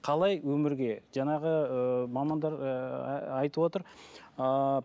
қалай өмірге жаңағы ыыы мамандар ыыы айтып отыр ыыы